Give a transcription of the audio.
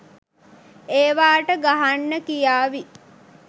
ඒවාට ගහන්න කියාවි